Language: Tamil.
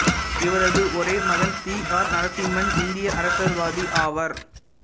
இவரது ஒரே மகன் சி ஆர் நரசிம்மன் இந்திய அரசியல்வாதி ஆவார்